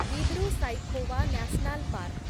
Dibru Saikhowa national park